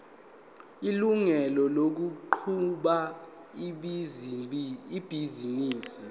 ilungelo lokuqhuba ibhizinisi